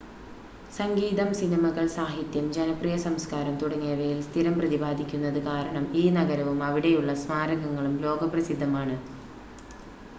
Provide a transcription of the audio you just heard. സംഗീതം സിനിമകൾ സാഹിത്യം ജനപ്രിയ സംസ്കാരം തുടങ്ങിയവയിൽ സ്ഥിരം പ്രതിപാദിക്കുന്നത് കാരണം ഈ നഗരവും അവിടെയുള്ള സ്മാരകങ്ങളും ലോകപ്രസിദ്ധമാണ്